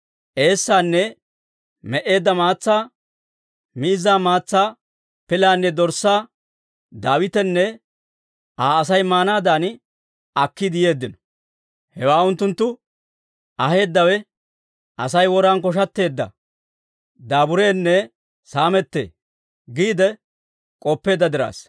eessaanne me"eedda maatsaa, miizzaa maatsaa pilaanne dorssaa Daawitenne Aa Asay maanaadan akkiide yeeddino. Hewaa unttunttu aheeddawe, «Asay woran koshatteedda, daabureenne saamettee» giide k'oppeedda diraassa.